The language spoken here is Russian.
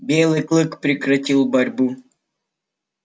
белый клык прекратил борьбу